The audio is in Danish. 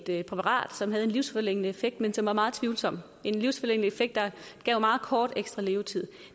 et præparat som havde en livsforlængende effekt men som var meget tvivlsom en livsforlængende effekt der gav meget kort ekstra levetid